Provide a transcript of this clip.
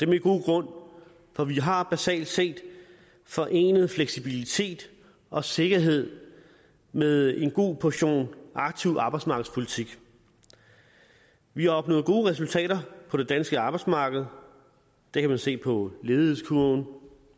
med god grund for vi har basalt set forenet fleksibilitet og sikkerhed med en god portion aktiv arbejdsmarkedspolitik vi har opnået gode resultater på det danske arbejdsmarked og det kan man se på ledighedskurven